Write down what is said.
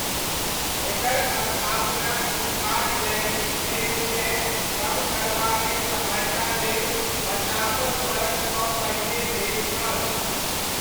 एकर स्थापना शिक्षाक लैङ्गिक भेदकेँ कम करबामे सहायता लेल पचासहु बरखसँ पहिने भेल छल।